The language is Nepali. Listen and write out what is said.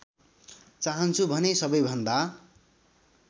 चाहन्छु भने सबैभन्दा